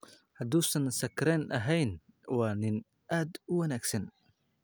Hadduusan sakhraan ahayn waa nin aad u wanaagsan.